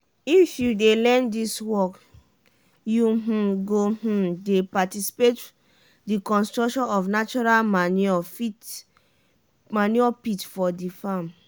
if you dey learn dis work you um go um dey participate for di construction of natural manure pit for di farm.